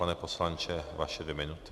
Pane poslanče, vaše dvě minuty.